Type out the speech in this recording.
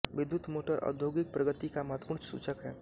विद्युत् मोटर औद्योगिक प्रगति का महत्वपूर्ण सूचक है